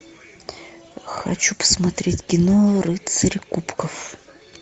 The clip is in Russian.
хочу посмотреть кино рыцарь кубков